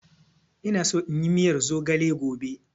Ina so inyi miyar zogale gobe.